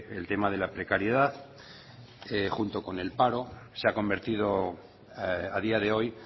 el tema de la precariedad junto con el paro se ha convertido a día de hoy